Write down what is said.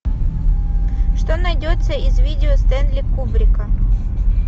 что найдется из видео стэнли кубрика